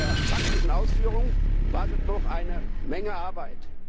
In der praktischen Ausführung wartet noch eine Menge Arbeit.